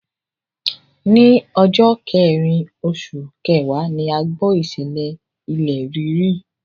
Ní ọjọ́ kẹrìn oṣù kẹwàá ni a gbọ́ ìṣẹ̀lẹ̀ ilẹ̀ rírì.